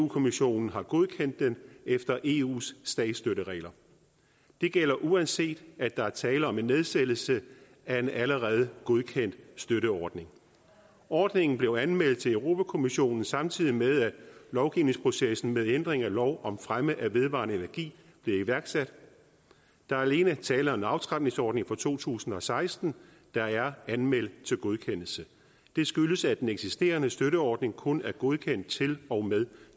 kommissionen har godkendt den efter eus statsstøtteregler det gælder uanset at der er tale om en nedsættelse af en allerede godkendt støtteordning ordningen blev anmeldt til europa kommissionen samtidig med at lovgivningsprocessen med ændring af lov om fremme af vedvarende energi blev iværksat der er alene tale om en aftrapningsordning fra to tusind og seksten der er anmeldt til godkendelse det skyldes at den eksisterende støtteordning kun er godkendt til og med